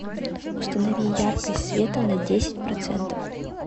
установи яркость света на десять процентов